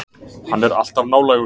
Hann er alltaf nálægur.